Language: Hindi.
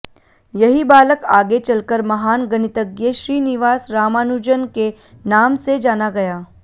यही बालक आगे चलकर महान गणितज्ञ श्रीनिवास रामानुजन् के नाम से जाना गया